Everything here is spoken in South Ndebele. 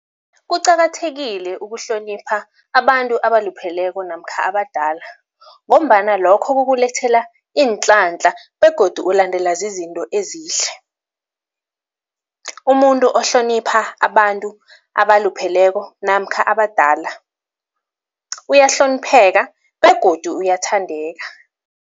Kuqakathekile ukuhlonipha abantu abalupheleko namkha abadala ngombana lokho kukulethela iinhlanhla begodu ulandelwa zizinto ezihle. Umuntu ohlonipha abantu abalupheleko namkha abadala, uyahlonipheka begodu uyathandeka.